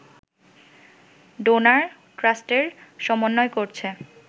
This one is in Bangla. ডোনার ট্রাস্টের সমন্বয় করছে